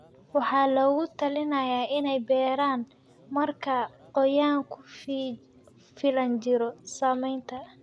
waxaa lagula talinayaa inay beeraan marka qoyaan ku filan jiro. Saamaynta